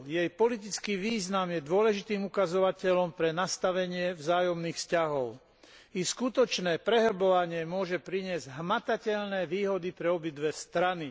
Jej politický význam je dôležitým ukazovateľom pre nastavenie vzájomných vzťahov. Ich skutočné prehlbovanie môže priniesť hmatateľné výhody pre obidve strany.